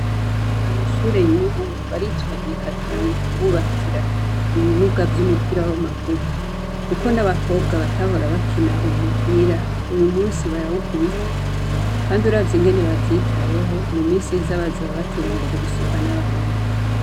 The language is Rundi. Amashure y'ubu baritwararika cane kububakira ibibuga vy'umupira w'amaguru kuko n'abakobwa batahora bakina umupira, uwu musi barawukubita kandi uravye ingene bavyitayeho, mu misi iza bazoba bateye imbere gusumvya n'abahungu.